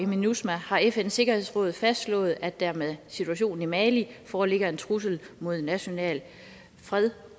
minusma har fns sikkerhedsråd fastslået at der med situationen i mali foreligger en trussel mod national fred